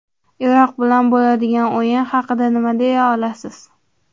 Iroq bilan bo‘ladigan o‘yin haqida nima deya olasiz?